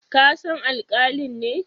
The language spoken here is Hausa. Ka san alkalin ne?